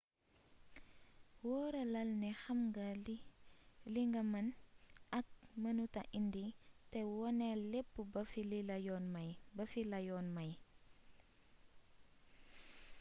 wóoralal ne xam nga li nga mën ak mënuta indi te woneel lépp ba fi la yoon may